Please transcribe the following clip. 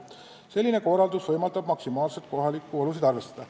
Selline korraldus võimaldab maksimaalselt kohalikke olusid arvestada.